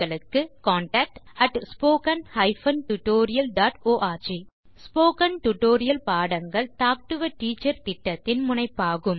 contact at spoken hyphen tutorial dot org spoken tutorial பாடங்கள் talk to a teacher திட்டத்தின் முனைப்பாகும்